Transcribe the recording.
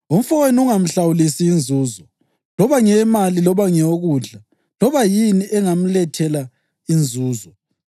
Umfowenu ungamhlawulisi inzuzo, loba ngeyemali loba ngeyokudla loba yini engamlethela inzuzo.